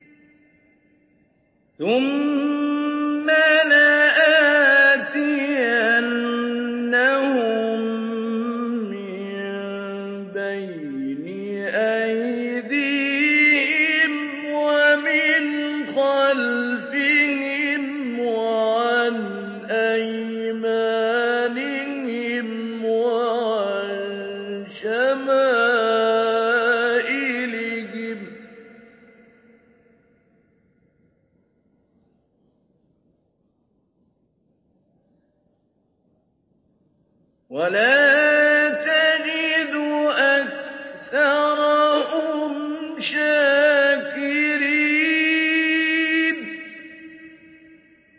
ثُمَّ لَآتِيَنَّهُم مِّن بَيْنِ أَيْدِيهِمْ وَمِنْ خَلْفِهِمْ وَعَنْ أَيْمَانِهِمْ وَعَن شَمَائِلِهِمْ ۖ وَلَا تَجِدُ أَكْثَرَهُمْ شَاكِرِينَ